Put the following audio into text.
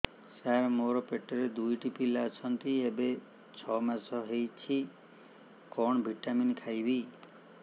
ସାର ମୋର ପେଟରେ ଦୁଇଟି ପିଲା ଅଛନ୍ତି ଏବେ ଛଅ ମାସ ହେଇଛି କଣ ଭିଟାମିନ ଖାଇବି